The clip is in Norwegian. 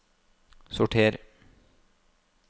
sorter